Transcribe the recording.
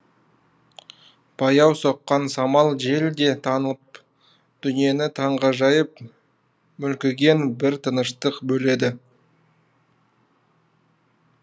баяу соққан самал жел де тынып дүниені таңғажайып мүлгіген бір тыныштық бөледі